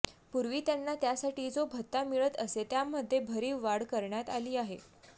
पूर्वी त्यांना त्यासाठी जो भत्ता मिळत असे त्यामध्ये भरीव वाढ करण्यात आली आहे